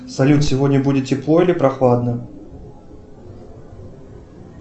салют сегодня будет тепло или прохладно